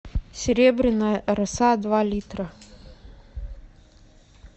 серебряная роса два литра